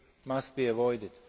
must be avoided.